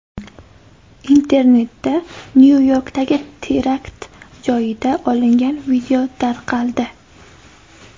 Internetda Nyu-Yorkdagi terakt joyida olingan video tarqaldi .